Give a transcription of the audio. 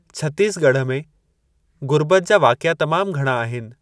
छत्तीस ॻढ़ में ग़ुर्बत जा वाक़िआ तमामु घणा आहिनि।